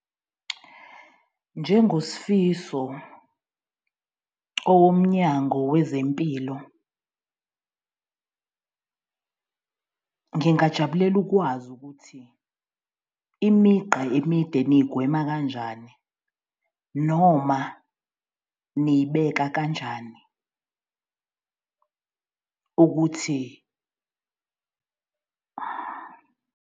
NjengoSifiso owomnyango wezempilo, ngingajabulela ukwazi ukuthi imigqa emide niyigwema kanjani? Noma niyibeka kanjani ukuthi.